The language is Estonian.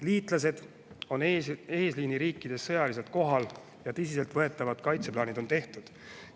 Liitlased on eesliiniriikides sõjaliselt kohal ja tõsiseltvõetavad kaitseplaanid on tehtud.